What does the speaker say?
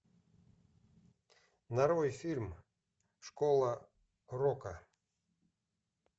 нарой фильм школа рока